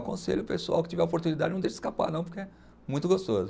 Aconselho o pessoal que tiver oportunidade, não deixe escapar não, porque é muito gostoso.